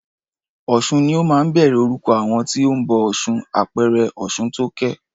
Ọ̀sun ni ó máa ń bẹ̀rẹ̀ orúkọ àwọn tí o ń bọ ọ̀ṣun, àpẹẹrẹ Ọ̀ṣuntókẹ́.